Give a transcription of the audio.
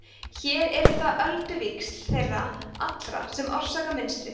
hér eru það ölduvíxl þeirra allra sem orsaka mynstrið